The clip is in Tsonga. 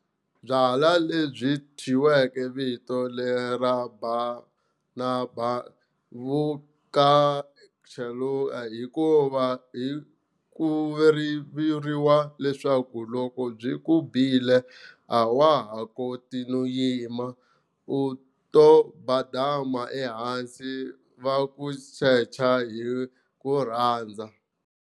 Byalwa lebyi byi thyiwe vito lera badanaba vu ka cheluka hikuva ku vuriwa leswaku loko byi ku bile a wa ha koti no yima, u to badama ehansi va ku secha hi ku rhandza.